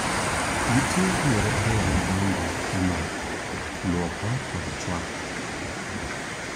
Nitie yore ariyo madongo e maa: luoko kod chuoko.